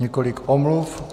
Několik omluv.